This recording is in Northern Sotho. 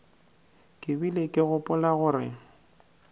ke bile ke gopola gore